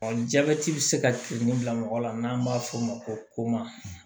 jabɛti bɛ se ka turu bila mɔgɔ la n'an b'a f'o ma ko ma